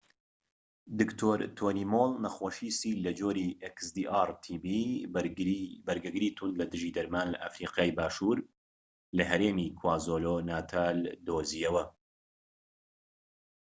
دکتۆر تۆنی مۆڵ، نەخۆشی سیل لە جۆری بەرگەگری توند لەدژی دەرمان xdr-tb ی لە ئەفریقای باشوور لە هەرێمی کوازولو-ناتال دۆزیەوە